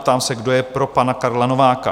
Ptám se, kdo je pro pana Karla Nováka?